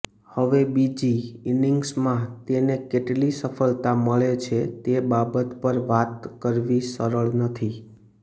હવે બીજી ઇનિગ્સમાં તેને કેટલી સફળતા મળે છે તે બાબત પર વાત કરવી સરળ નથી